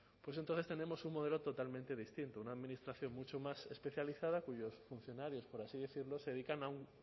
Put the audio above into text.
entonces tenemos un modelo totalmente distinto una administración mucho más especializada cuyos funcionarios por así decirlo se dedican a un